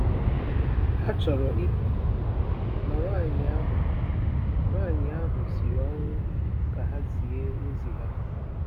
Ha chọrọ ịpụ, ma nwaanyị ahụ nwaanyị ahụ siri ọnwụ ka ha zie ozi ha.